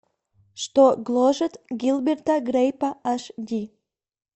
что гложет гилберта грейпа аш ди